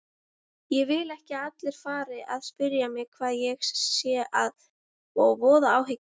Ég vil ekki að allir fari að spyrja mig hvað sé að og voða áhyggjur.